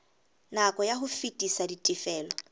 nako ya ho fetisa ditifelo